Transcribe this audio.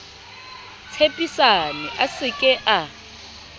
tshepisane a se ke a